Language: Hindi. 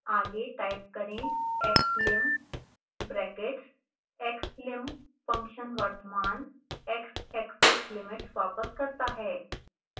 आगे टाइप करें xlim brackets